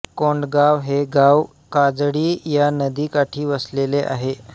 कोंडगाव हे गाव काजळी या नदीकाठी वसलेले आहे